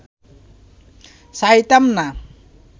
চাহিতাম না